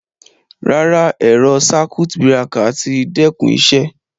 Ràrá, ẹ̀rọ̀ sákùt bíràkà tí dẹ́kún ìṣẹ